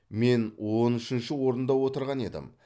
мен он үшінші орында отырған едім